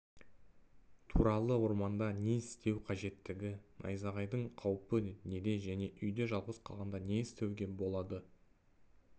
туралы орманда не істеу қажеттігі найзағайдың қаупі неде және үйде жалғыз қалғанда не істеуге болады